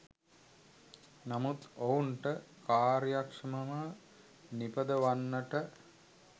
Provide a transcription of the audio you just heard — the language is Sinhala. නමුත් ඔවුන්ට කාර්යක්ෂමව නිපදවන්නට